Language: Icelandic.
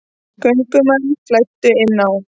Göngumenn flæddu inn á